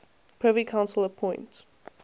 privy council appoint